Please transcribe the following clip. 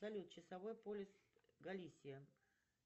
салют часовой пояс галисия